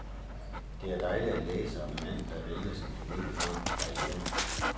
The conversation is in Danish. Det er dejligt at læse om en mand, der vælger sin familie frem for karrieren.